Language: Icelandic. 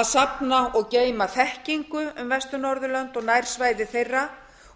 að safna og geyma þekkingu um vestur norðurlönd og nærsvæði þeirra